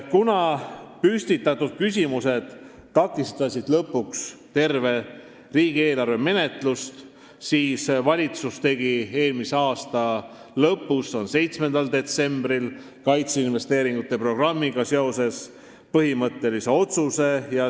Kuna püstitatud küsimused takistasid lõpuks tervet riigieelarve menetlust, tegi valitsus eelmise aasta lõpus, 7. detsembril kaitseinvesteeringute programmiga seoses põhimõttelise otsuse.